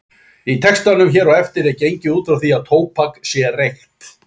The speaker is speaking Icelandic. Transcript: Í textanum hér á eftir er gengið út frá því að tóbak sé reykt.